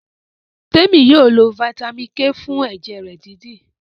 Temi yóò ló vitamin k fún ẹjẹ rẹ dídì.